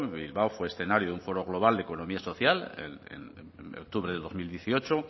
bilbao fue escenario de un pueblo global de economía social en octubre del dos mil dieciocho